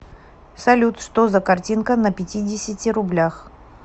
салют что за картинка на пятидесяти рублях